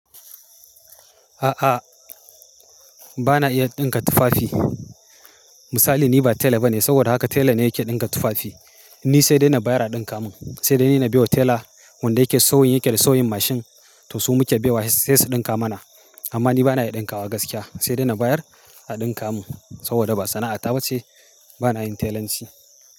A'a, ba na iya ɗinka tufafi. Misali ni ba tela ba ne, saboda haka tela ne yake ɗinka tufafi. Ni sai dai na bayar a ɗinka mun, sai dai ni na biyo tela wanda yake sauyin yake da sauyin mashin to su muke baiwa sai su ɗinka mana. Amma ni ba na iya ɗinkawa gaskiya. Sai dai na bayar a ɗinka mun saboda ba sana'a ta ba ce. Ba na yin telanci.